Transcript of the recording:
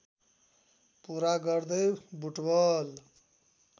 पुरा गर्दै बुटवल